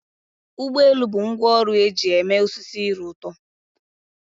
Ụgbọ elu bụ ngwá ọrụ eji eme osisi ire ụtọ.